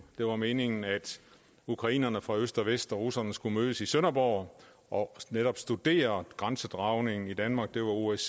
det var meningen at ukrainerne fra øst og vest og russerne skulle mødes i sønderborg og netop studere grænsedragningen i danmark det var osce